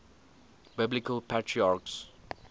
biblical patriarchs